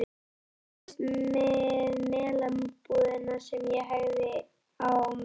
Það var fyrst við Melabúðina sem ég hægði á mér.